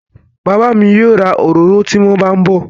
Bàbá mi yóò ra òróró tí wón bá ń bọ̀